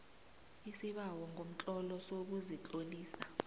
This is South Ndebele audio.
isibawo ngomtlolo sokuzitlolisa